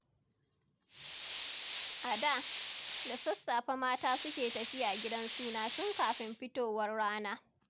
A da, da sassafe mata suke tafiya gidan suna, tun kafin fitowar rana.